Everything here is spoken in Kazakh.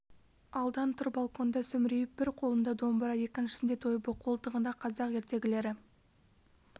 алдан тұр балконда сүмірейіп бір қолында домбыра екіншісіңде дойбы қолтығында қазақ ертегілері